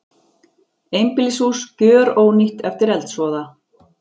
Einbýlishús gjörónýtt eftir eldsvoða